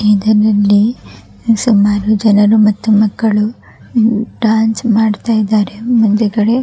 ಇದರಲ್ಲಿ ಸುಮಾರು ಜನರು ಮತ್ತು ಮಕ್ಕಳು ಡ್ಯಾನ್ಸ್ ಮಾಡ್ತಾ ಇದ್ದಾರೆ ಮುಂದುಗಡೆ --